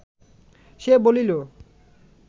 সে বলিল